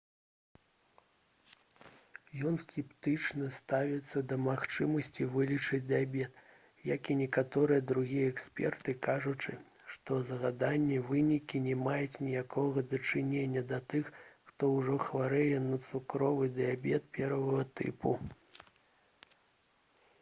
ён скептычна ставіцца да магчымасці вылечыць дыябет як і некаторыя другія эксперты кажучы што згаданыя вынікі не маюць ніякага дачынення да тых хто ўжо хварэе на цукровы дыябет 1 тыпу